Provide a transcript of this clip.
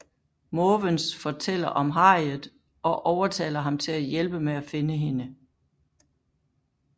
Måvens fortæller om Harriet og overtaler ham til at hjælpe med at finde hende